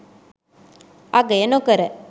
අගය නොකර